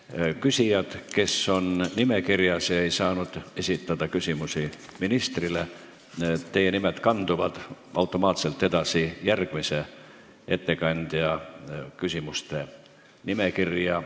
Nende küsijate nimed, kes on nimekirjas, aga kes ei saanud esitada küsimust ministrile, kanduvad automaatselt edasi järgmisele ettekandjale esitatavate küsimuste nimekirja.